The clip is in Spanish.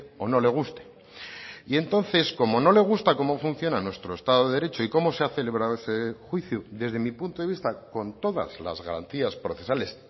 o no le guste y entonces como no le gusta cómo funciona nuestro estado de derecho y como se ha celebrado ese juicio desde mi punto de vista con todas las garantías procesales